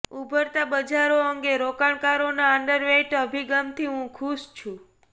ઉભરતાં બજારો અંગે રોકાણકારોના અંડરવેઈટ અભિગમથી હું ખુશ છું